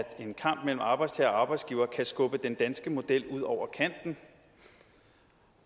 en kamp mellem arbejdstager og arbejdsgiver kan skubbe den danske model ud over kanten